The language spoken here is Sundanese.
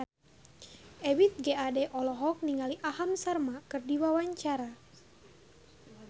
Ebith G. Ade olohok ningali Aham Sharma keur diwawancara